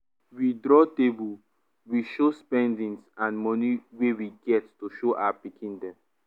we draw table we show spendings and money wey we get to show our pikin dem